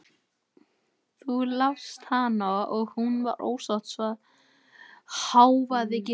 Þú lást hana og hún var ósátt, hváði Gizur.